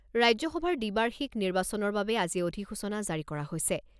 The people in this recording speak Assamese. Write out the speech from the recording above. ৰাজ্যসভাৰ দ্বিবাৰ্ষিক নিৰ্বাচনৰ বাবে আজি অধিসূচনা জাৰি কৰা হৈছে।